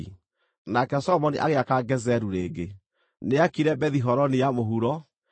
Nake Solomoni agĩaka Gezeru rĩngĩ. Nĩaakire Bethi-Horoni ya mũhuro, na